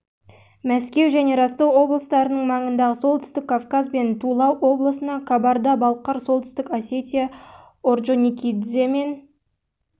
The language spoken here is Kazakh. мәскеу және ростов облыстарының маңындағы солтүстік кавказ бен тула облысында кабарда-балқар солтүстік осетия орджоникидзе мен